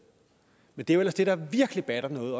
men det er jo ellers det der virkelig batter noget